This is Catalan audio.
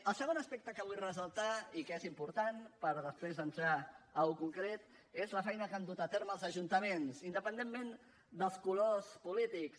el segon aspecte que vull ressaltar i que és important per després entrar en allò concret és la feina que han dut a terme els ajuntaments independentment dels colors polítics